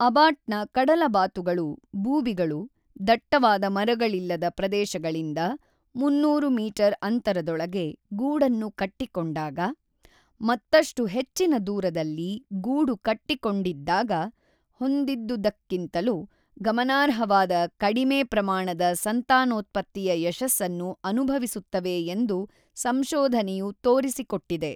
ಅಬಾಟ್‌ನ ಕಡಲಬಾತುಗಳು (ಬೂಬಿಗಳು) ದಟ್ಟವಾದ ಮರಗಳಿಲ್ಲದ ಪ್ರದೇಶಗಳಿಂದ ೩೦೦ ಮೀಟರ್‌ ಅಂತರದೊಳಗೆ ಗೂಡನ್ನು ಕಟ್ಟಿಕೊಂಡಾಗ, ಮತ್ತಷ್ಟು ಹೆಚ್ಚಿನ ದೂರದಲ್ಲಿ ಗೂಡು ಕಟ್ಟಿಕೊಂಡಿದ್ದಾಗ ಹೊಂದಿದ್ದುದಕ್ಕಿಂತಲೂ ಗಮನಾರ್ಹವಾದ ಕಡಿಮೆ ಪ್ರಮಾಣದ ಸಂತಾನೋತ್ಪತ್ತಿಯ ಯಶಸ್ಸನ್ನು ಅನುಭವಿಸುತ್ತವೆ ಎಂದು ಸಂಶೋಧನೆಯು ತೋರಿಸಿಕೊಟ್ಟಿದೆ.